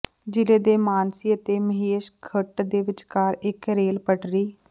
ਜਿਲ੍ਹੇ ਦੇ ਮਾਨਸੀ ਅਤੇ ਮਹੇਸ਼ਖੁੰਟ ਦੇ ਵਿਚਕਾਰ ਇੱਕ ਰੇਲ ਪਟੜੀ